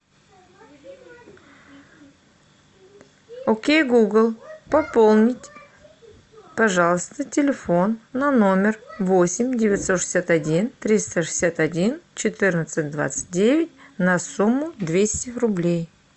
окей гугл пополнить пожалуйста телефон на номер восемь девятьсот шестьдесят один триста шестьдесят один четырнадцать двадцать девять на сумму двести рублей